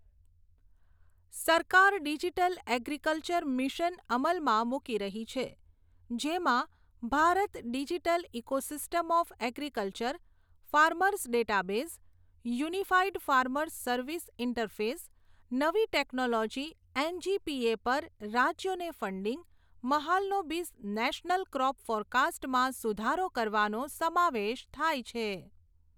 સરકાર digital agriculture mission અમલમાં મૂકી રહી છે, જેમાં Bharat digital ecosystem of agriculture, farmers database, unified farmers service interface, નવી ટેક્નોલોજી એનજીપીએ પર રાજ્યોને ફંડિંગ, મહાલનોબિસ નેશનલ ક્રોપ ફોરકાસ્ટમાં સુધારો કરવાનો સમાવેશ થાય છે.